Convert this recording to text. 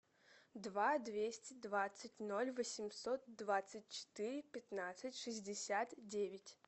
два двести двадцать ноль восемьсот двадцать четыре пятнадцать шестьдесят девять